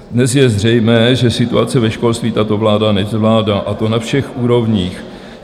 Dnes je zřejmé, že situace ve školství tato vláda nezvládá, a to na všech úrovních.